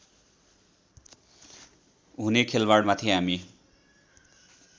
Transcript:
हुने खेलबाडमाथि हामी